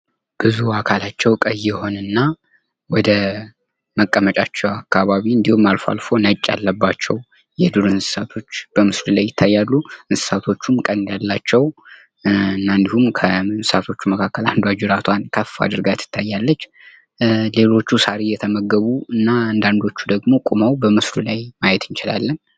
ብዙ አካላቸው ቀይ የሆነና ወደመቀመጫቸው አካባቢ እንድሁም አልፎ አልፎ ነጭ ያለባቸው የዱር እንስሳቶች በምስሉ ላይ ይታያሉ። እንስሳቶቹም ቀንድ ያላቸው እና እንድሁም ከሳሮቹ መካከል አንዷ ጅራቷን ከፍ አድርጋ ትታያለች። ሌሎቹ ሳር እየተመገቡ እና አንዳንዶቹ ደግሞ ቁመው በምስሉ ላይ ማየት እንችላለን።